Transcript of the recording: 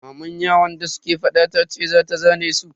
Maman yaran da suke fada tace za ta zane su.